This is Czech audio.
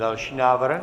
Další návrh?